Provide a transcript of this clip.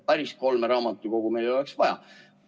Noh, päris kolme raamatukogu meil ei oleks vaja.